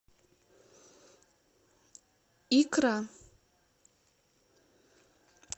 икра